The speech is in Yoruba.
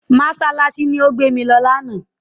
Mọ́ṣáláṣí ni ó gbé mi lọ lánàá.